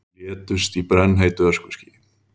Létust í brennheitu öskuskýi